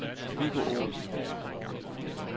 Viggo Olsen